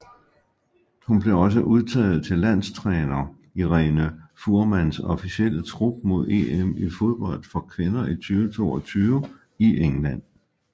Hun blev også udtaget til landstræner Irene Fuhrmanns officielle trup mod EM i fodbold for kvinder 2022 i England